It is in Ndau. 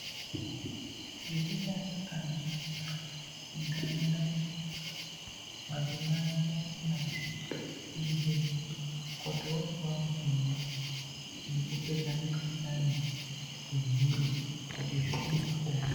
Zvisikana kana zvarwara mundaraunda mwatinogara madzimai ngaende nazvo kuzvibhedhlera koti opuwa mitombo yekupedza mikhuhlani ehee kuti zvione kupona.